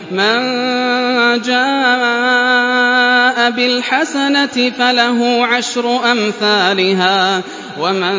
مَن جَاءَ بِالْحَسَنَةِ فَلَهُ عَشْرُ أَمْثَالِهَا ۖ وَمَن